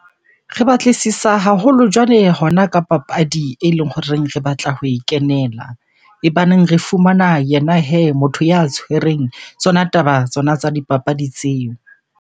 Re batlisisa haholo jwale hona ka papadi eleng horeng re batla ho e kenela. E baneng re fumana yena hee motho ya tshwereng tsona taba tsena tsa dipapadi tseo.